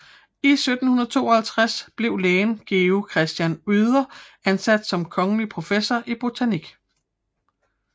I 1752 blev lægen Georg Christian Oeder ansat som kongelig professor i botanik